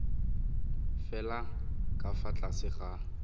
fela ka fa tlase ga